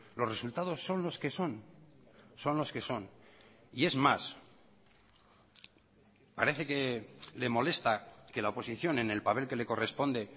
los resultados son los que son son los que son y es más parece que le molesta que la oposición en el papel que le corresponde